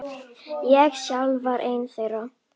Ég sjálfur var einn þeirra.